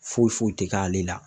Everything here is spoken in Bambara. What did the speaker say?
Foyi foyi ti k'ale la